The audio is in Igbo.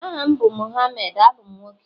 aha m bu Mohammed, abum nwoke